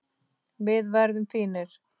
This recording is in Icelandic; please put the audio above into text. Við verðum fínir.